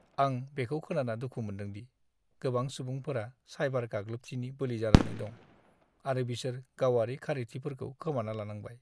आं बेखौ खोनाना दुखु मोन्दों दि - गोबां सुबुंफोरा साइबार-गाग्लोबथिनि बोलि जानानै दं आरो बिसोर गावारि खारिथिफोरखौ खोमाना लानांबाय।